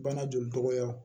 Bana joli tɔgɔya